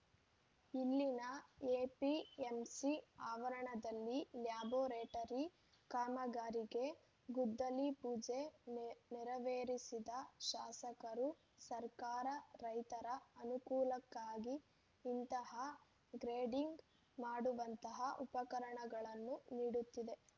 ಇಲ್ಲಿನ ಎಪಿಎಂಸಿ ಅವರಣದಲ್ಲಿ ಲ್ಯಾಬೋರೇಟರಿ ಕಾಮಗಾರಿಗೆ ಗುದ್ದಲಿ ಪೂಜೆ ನೆರವೇರಿಸಿದ ಶಾಸಕರು ಸರ್ಕಾರ ರೈತರ ಅನುಕೂಲಕ್ಕಾಗಿ ಇಂತಹ ಗ್ರೇಡಿಂಗ್‌ ಮಾಡುವಂತಹ ಉಪಕರಣಗಳನ್ನು ನೀಡುತ್ತಿದೆ